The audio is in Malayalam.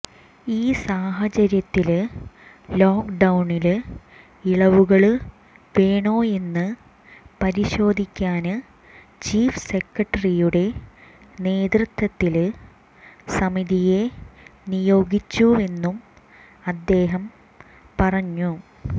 ഈ സാഹചര്യത്തില് ലോക്ക് ഡൌണില് ഇളവുകള് വേണോയെന്ന് പരിശോധിക്കാന് ചീഫ് സെക്രട്ടറിയുടെ നേതൃത്വത്തില് സമിതിയെ നിയോഗിച്ചുവെന്നും അദ്ദേഹം പറഞ്ഞു